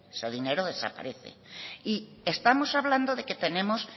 ese dinero desaparece y estamos hablando de que tenemos